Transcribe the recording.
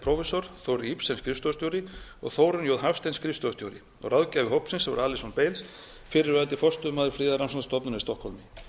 prófessor þórir ibsen skrifstofustjóri og þórunn j hafstein skrifstofustjóri ráðgjafi starfshópsins var alyson bailes fyrrverandi forstöðumaður friðarrannsóknastofnunarinnar í stokkhólmi